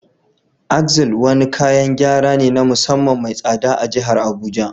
Axle wani kayan gyara ne na musamman mai tsada a jihar Abuja